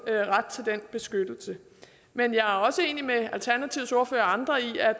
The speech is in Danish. ret til den beskyttelse men jeg er også enig med alternativets ordfører og andre i at